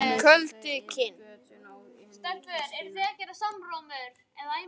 Köldukinn